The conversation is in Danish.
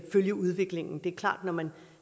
følge udviklingen det er klart at når man